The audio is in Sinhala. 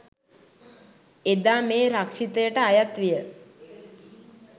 එදා මේ රක්ෂිතයට අයත් විය